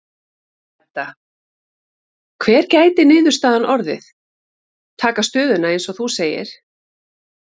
Edda: Hver gæti niðurstaðan orðið, taka stöðuna eins og þú segir?